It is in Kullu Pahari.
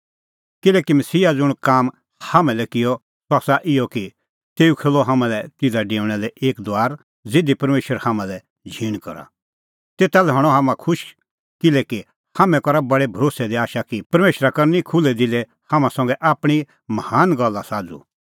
किल्हैकि मसीहा ज़ुंण काम हाम्हां लै किअ सह आसा इहअ कि तेऊ खोल्हअ हाम्हां लै तिधा डेऊणा लै एक दुआर ज़िधी परमेशरा हाम्हां लै झींण करा तेता लै हणअ हाम्हां खुश किल्हैकि हाम्हैं करा बडै भरोस्सै दी आशा कि परमेशरा करनी खुल्है दिलै हाम्हां संघै आपणीं महान गल्ला साझ़ू